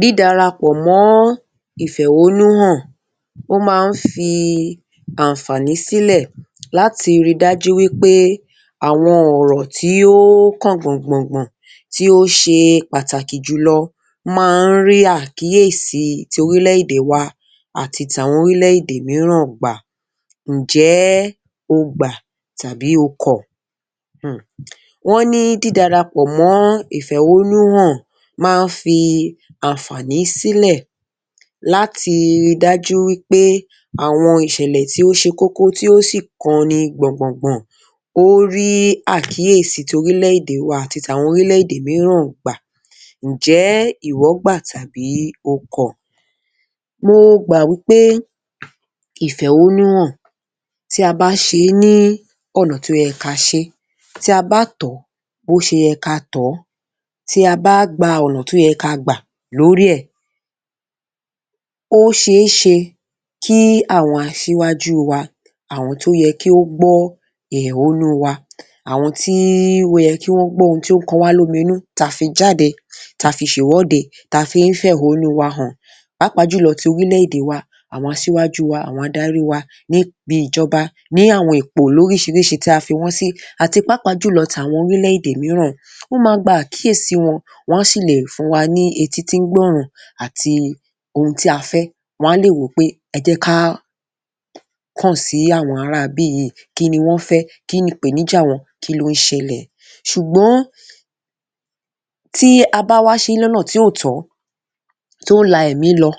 Dídarapọ̀ mọ́ ìfẹ̀hónúhàn, ó máa ń fi ànfààní sílẹ̀ láti ríi dájú wí pé àwọn ọ̀rọ̀ tí ó kàn gbọ̀ngbọ̀ngbọ̀n, tí ó ṣe pàtàkì jùlọ máa ń rí àkíyèsí torílẹ̀-èdè wa àti tàwọn orílẹ̀-èdè mìíràn gbà. Ǹjẹ́ o gbà tàbí o kọ̀? um. Wọ́n ní dídarapọ̀ mọ́ ìfẹ̀hónúhàn máa ń fi ànfààní sílẹ̀ láti ríi dájú wí pé àwọn ìṣẹ̀lẹ̀ tí ó ṣe kókó tí ó sì kanni gbọ̀ngbọ̀ngbọ̀n, ó rí àkíyèsí torílẹ̀-èdè wa àti tàwọn orílẹ̀-èdè mìíràn gbà. Ǹjọ́ ìwọ gbà tàbí o kọ̀? Mo gbà wí pé ifẹ̀hónúhàn, tí a bá ṣe é ní ọ̀nà tó yẹ ka ṣe é, tí a bá tọ̀ ọ́ bó ṣe yẹ ká a tọ̀ ọ́, tí a bá gba ọ̀nà tó yẹ ká a gbà lórí ẹ̀, ó ṣe é ṣe kí àwọn aṣíwájú wa, àwọn tó yẹ kí ó gbọ́ ẹ̀hónú wa, àwọn tí ó yẹ kí wọ́n gbọ́n ohujn tí ó kọ wá lóminú tá a fi jáde, tá a fi ṣèwọ́de, tá a fi ń fẹ̀hónú wa hàn, pàápàá jùlọ ti orílẹ̀-èdè wa, àwọn aṣíwájú wa, àwọn adarí wa níbi ìjọba, ní ipò lóríṣiríṣi tí a fi wọ́n sí, àti pàápàá jùlọ tàwọn orílẹ̀-èdè mìíràn. Ó máa gba àkíyèsí wọn, wọ́n á sì le fún wa ní etí tí ń gbọ́ran àti ohun tí a fẹ́, wọ́n á lè wò ó pé ẹ jẹ́ ká kàn sí àwọn ará ibí yìí, kí ni wọ́n fẹ́? Kí nìpèníjà wọn?' 'Kí ló ń ṣẹlẹ̀?' Ṣùgbọ́n tí a bá wá ṣe é lọ́nà tí ò tọ́, tó la ẹ̀mí lọ,